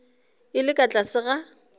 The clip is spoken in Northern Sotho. e le ka tlase ga